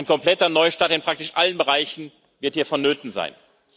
Ein kompletter Neustart in praktisch allen Bereichen wird hier vonnöten sein.